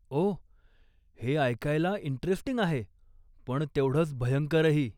ओह, हे ऐकायला इंटरेस्टिंग आहे, पण तेवढंच भयंकरही.